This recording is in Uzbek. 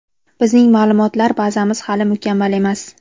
bizning ma’lumotlar bazamiz hali mukammal emas.